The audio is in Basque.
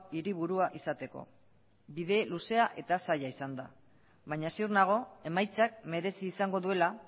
hiriburua izateko bide luzea eta zaila izan da baina ziur nago emaitzak merezi izango duela